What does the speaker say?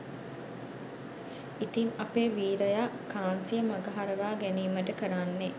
ඉතින් අපේ වීරයා කාන්සිය මගහරවා ගැනීමට කරන්නේ